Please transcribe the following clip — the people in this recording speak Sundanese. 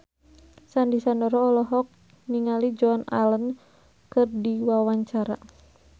Sandy Sandoro olohok ningali Joan Allen keur diwawancara